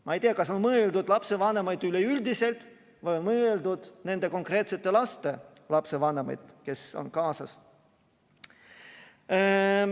Ma ei tea, kas on mõeldud lapsevanemaid üleüldiselt või mõeldud nende konkreetsete laste lapsevanemaid, kes on kaasas.